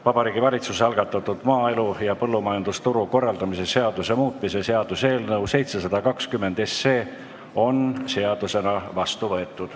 Vabariigi Valitsuse algatatud maaelu ja põllumajandusturu korraldamise seaduse muutmise seaduse eelnõu 720 on seadusena vastu võetud.